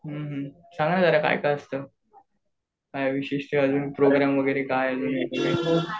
सांग ना जरा काय काय असतं? काय विशेष अजून प्रोग्रॅम वगैरे काय?